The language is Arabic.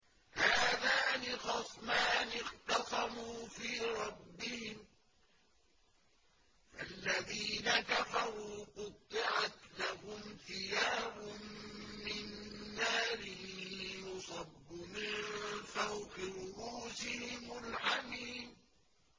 ۞ هَٰذَانِ خَصْمَانِ اخْتَصَمُوا فِي رَبِّهِمْ ۖ فَالَّذِينَ كَفَرُوا قُطِّعَتْ لَهُمْ ثِيَابٌ مِّن نَّارٍ يُصَبُّ مِن فَوْقِ رُءُوسِهِمُ الْحَمِيمُ